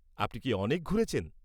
আপনি কি অনেক ঘুরেছেন?